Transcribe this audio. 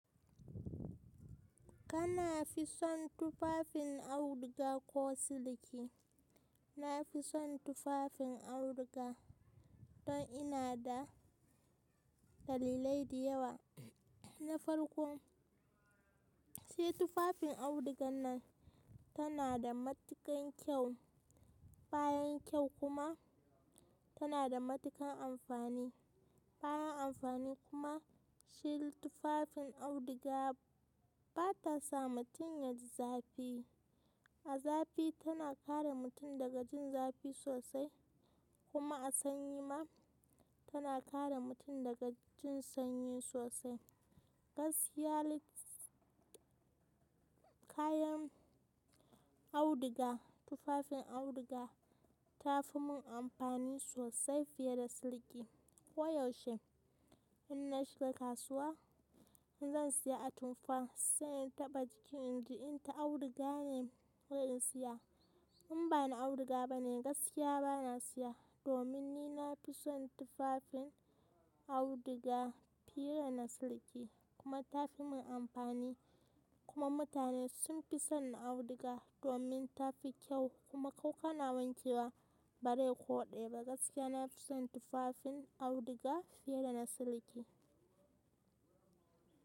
Kana fi son tufafin auduga ko siliki? Na fi son tufafin auduga don ina da dalilai di yawa na farko se tufafin audugan ma tana da matuƙan kyau, bayan kyau kuma tana da matuƙan amfani, bayan amfani kuma shi tufafin auduga ba ta sa mutum ya ji zafi. A zafi tana kare mutum daga jin zafi sosai kuma a sanyi ma tana kare mutum daga jin sanyi sosai. Gaskiya ne kayan auduga, tufafin auduga ta fi mun amfani sosai fiye da siliki. Koyaushe in na shi kasuwa, in zan saya atamfa sai in taɓa jiki in ji inta auduga ne ko in siya. In ba na auduga bane gaskiya ba na saya domin ni na fi son tufafin auduga fiye da na siliki kuma ta fi mun amfani kuma mutane sun fi son auduga domin tafi kyau kuma ko kana wanke wa bare ko ɗe ba gaskiya na fi son tufafin auduga fiye da na siliki.